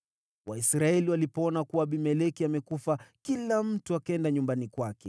Waisraeli walipoona kuwa Abimeleki amekufa, kila mtu akaenda nyumbani kwake.